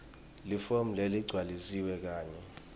lifomu leligcwalisiwe kanye